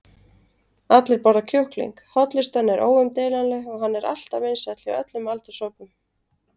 allir borða kjúkling, hollustan er óumdeilanleg og hann er alltaf vinsæll hjá öllum aldurshópum.